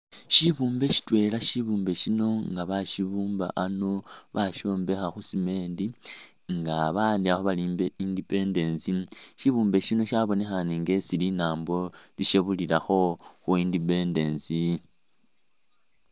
Shibumbe shitwela shibumbe shino nga bashibumba ano bashombekha khu'cement nga ba'andikhakho bali inpe independence, shibumbe shino shabonekhane nga esi linambo lishebulilakho khu'independence